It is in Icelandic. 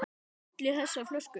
Hvað olli þessari fólsku?